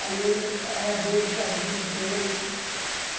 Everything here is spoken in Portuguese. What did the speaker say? Aí, ele, ela deu o chazinho para ele.